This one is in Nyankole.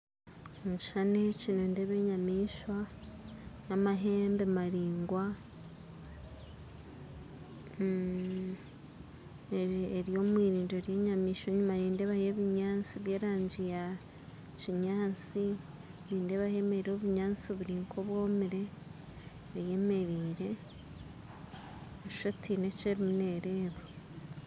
Omukishushani eki nindebamu enyamaishwa yamahembe maringwa eri omwirindiro ry'enyamishwa enyima nindeebayo ebinyansi by'erangi yakinyansi nindahamerire obunyansi buri nk'obwomire eyemerire nooshusha oti haine eki eriyo neereba